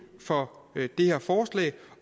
for det her forslag